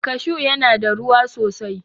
Kashu ya na da ruwa sosai